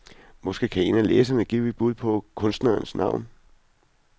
Måske kan en af læserne give et bud på kunstnerens navn.